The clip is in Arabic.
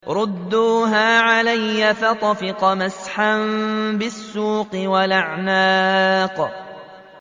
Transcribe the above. رُدُّوهَا عَلَيَّ ۖ فَطَفِقَ مَسْحًا بِالسُّوقِ وَالْأَعْنَاقِ